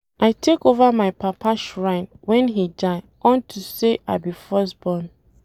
I take over my papa shrine wen he die unto say I be first born